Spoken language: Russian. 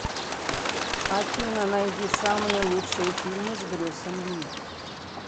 афина найди самые лучшие фильмы с брюсом ли